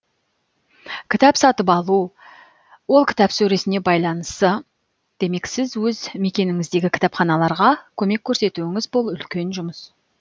кітап сатып алу ол кітап сөресіне байланысы демек сіз өз мекеніңіздегі кітапханаларға көмек көрсетуіңіз бұл үлкен жұмыс